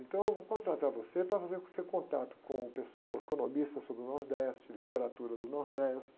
Então, eu vou contratar você para fazer o seu contato com o pessoal economista sobre o Nordeste, literatura do Nordeste.